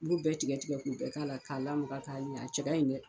i b'u bɛɛ tigɛ tigɛ k'u bɛɛ k'a la k'a lamaga cɛ ka ɲi dɛ